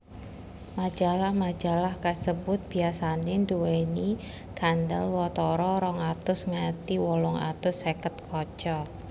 Majalah majalah kasebut biasané nduwèni kandelwatara rong atus nganti wolung atus seket kaca